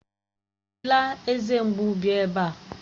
Ejila eze mgbu bịa ebe a!